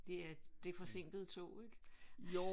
Det er det er forsinkede tog ik? Nej nej der kører jo også godstoge